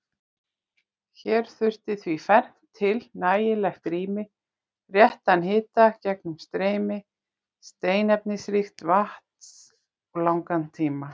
Hér þurfti því fernt til: nægilegt rými, réttan hita, gegnumstreymi steinefnaríks vatns, og langan tíma.